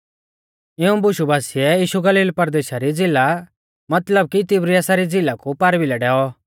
इऊं बुशु बासिऐ यीशु गलील परदेशा री झ़िला मतलब कि तिबिरियासा री झ़िला कु पारभिलै डैऔ